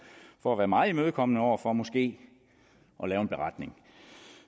for at være meget imødekommende over for måske at lave en beretning